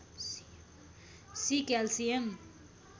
C calcium